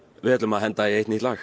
við ætlum að henda í eitt nýtt lag